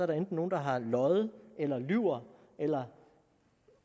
der enten nogen der har løjet eller lyver eller